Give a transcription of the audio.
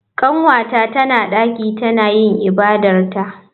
Kanwata tana daki tana yin ibadarta.